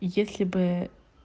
если бы